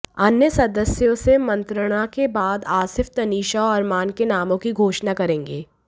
अन्य सदस्यों से मंत्रणा के बाद आसिफ तनीषा और अरमान के नामों की घोषणा करेंगे